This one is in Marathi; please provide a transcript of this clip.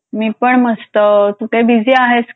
मी पण मस्त. कुठे बिझी आहेस